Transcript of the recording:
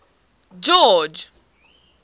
george